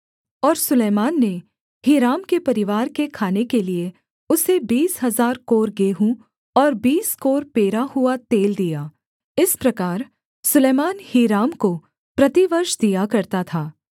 और सुलैमान ने हीराम के परिवार के खाने के लिये उसे बीस हजार कोर गेहूँ और बीस कोर पेरा हुआ तेल दिया इस प्रकार सुलैमान हीराम को प्रतिवर्ष दिया करता था